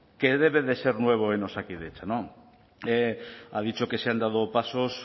que debe de ser nuevo en osakidetza no ha dicho que se han dado pasos